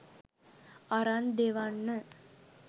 අරන් දෙවන්න.